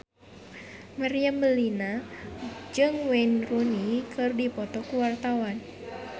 Meriam Bellina jeung Wayne Rooney keur dipoto ku wartawan